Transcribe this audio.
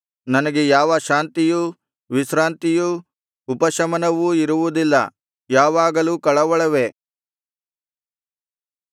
ನನಗೆ ಯಾವ ಶಾಂತಿಯೂ ವಿಶ್ರಾಂತಿಯೂ ಉಪಶಮನವೂ ಇರುವುದಿಲ್ಲ ಯಾವಾಗಲೂ ಕಳವಳವೇ